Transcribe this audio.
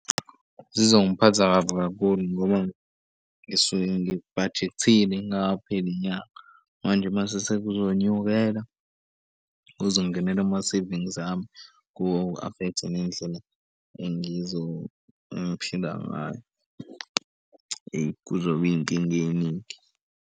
Zizongiphatheka kabi kakhulu ngoba ngisuke ngibhajekthile kungakapheli inyanga. Manje mase sekuzonyukela kuze kungenela ama-savings ami ku-affect-e nendlela engiphila ngayo. Eyi kuzoba iy'nkinga ey'ningi.